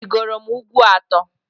Arịgoro m ugwu atọ.